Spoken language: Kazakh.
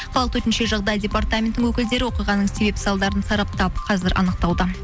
қалалық төтенше жағдай депатраментінің өкілдері оқиғаның себеп салдарын сараптап қазір анықтауда